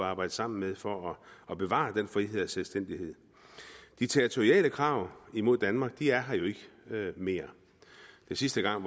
arbejde sammen med for at bevare den frihed og selvstændighed de territoriale krav mod danmark er her jo ikke mere sidste gang